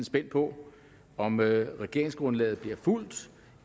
spændte på om regeringsgrundlaget bliver fulgt